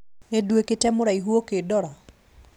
Nĩnduĩkĩte mũraihu ũkĩndora